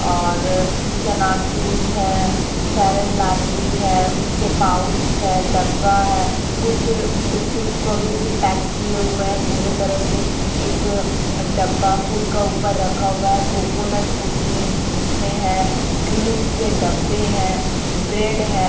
और चनाचूस है फेयर एंड लवली है उसके पाउच है डब्बा है कुछ बिस्किट्स को अभी भी पैक किए हुए हैं पूरे तरह से एक डब्बा कूड का ऊपर रखा हुआ है कोकोनोट कुकीज जिसमें है क्रीम्स के डब्बे हैं ब्रेड है।